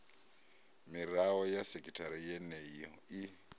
mirao ya sekithara yeneyo i